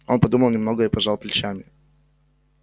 он подумал немного и пожал плечами